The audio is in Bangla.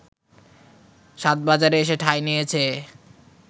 সাধবাজারে এসে ঠাঁই নিয়েছে